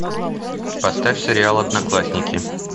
поставь сериал одноклассники